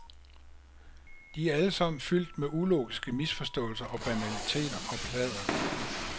De er alle sammen fyldt med ulogiske misforståelser og banaliteter og pladder.